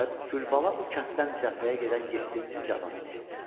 Və Gülbala bu kənddən cəbhəyə gedən yeddinci cavan idi.